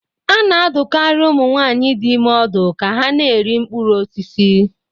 Ana-adụkarị ụmụ nwaanyị dị ime ọdụ ka ha na-eri mkpụrụ osisi.